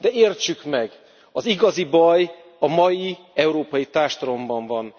De értsük meg az igazi baj a mai európai társadalomban van.